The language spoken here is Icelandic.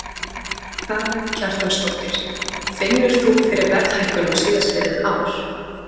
Karen Kjartansdóttir: Finnur þú fyrir verðhækkunum síðastliðið ár?